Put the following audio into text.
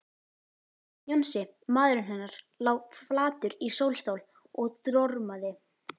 Jónsi, maðurinn hennar, lá flatur í sólstól og dormaði.